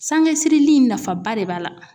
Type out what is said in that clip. Sanŋesirili in nafaba de b'a la.